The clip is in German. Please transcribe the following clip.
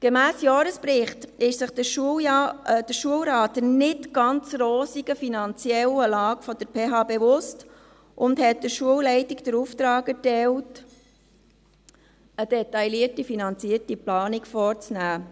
Gemäss Jahresbericht ist sich der Schulrat der nicht ganz rosigen finanziellen Lage der PH Bern bewusst und hat der Schulleitung den Auftrag erteilt, eine detaillierte finanzierte Planung vorzunehmen.